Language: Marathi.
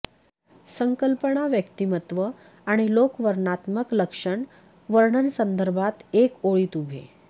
संकल्पना व्यक्तिमत्व आणि लोक वर्णनात्मक लक्षण वर्णन संदर्भात एका ओळीत उभे